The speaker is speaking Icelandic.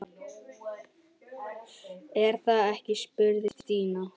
Er það ekki? spurði Stína.